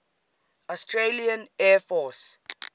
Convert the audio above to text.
australian air force